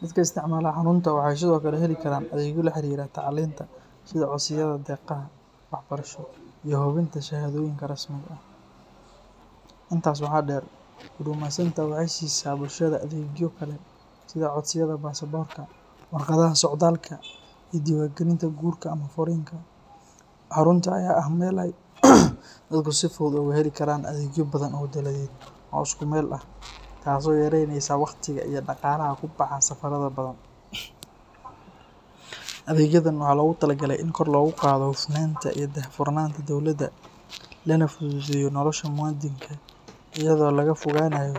Dadka isticmaala xarunta waxay sidoo kale heli karaan adeegyo la xiriira tacliinta sida codsiyada deeqaha waxbarasho iyo hubinta shahaadooyinka rasmiga ah. Intaas waxaa dheer, Huduma Centre waxay siisaa bulshada adeegyo kale sida codsiyada baasaboorka, warqadaha socdaalka, iyo diiwaangelinta guurka ama furriinka. Xarunta ayaa ah meel ay dadku si fudud uga heli karaan adeegyo badan oo dowladeed oo isku meel ah, taas oo yaraynaysa waqtiga iyo dhaqaalaha ku baxa safarada badan. Adeegyadan waxaa loogu talagalay in kor loogu qaado hufnaanta iyo daahfurnaanta dowladda, lana fududeeyo nolosha muwaadinka iyadoo laga fogaanayo.